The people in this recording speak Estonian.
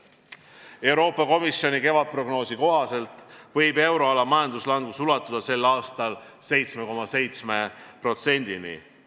Euroopa Komisjoni kevadprognoosi kohaselt võib euroala majanduslangus ulatuda sel aastal 7,7%-ni.